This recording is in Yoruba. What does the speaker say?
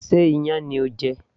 Sé iyán ni ò ń jẹ